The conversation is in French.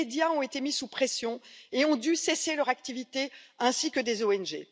Des médias ont été mis sous pression et ont dû cesser leur activité, ainsi que des ONG.